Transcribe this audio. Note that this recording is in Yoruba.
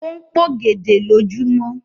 O n p'ògèdè lojumọ.